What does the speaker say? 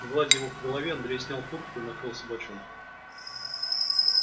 гладя его по голове андрей снял куртку и накрыл собачонку